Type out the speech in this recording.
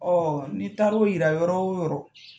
n'i taara o yira yɔrɔ o yɔrɔ